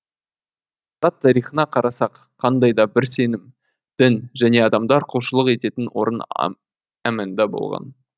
адамзат тарихына қарасақ қандай да бір сенім дін және адамдар құлшылық ететін орын әманда болған